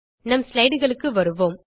நம் slidesக்கு வருவோம்